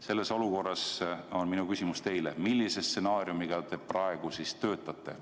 Selles olukorras on minu küsimus teile: millise stsenaariumiga te praegu töötate?